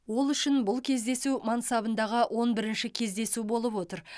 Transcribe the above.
ол үшін бұл кездесу мансабындағы он бірінші кездесу болып отыр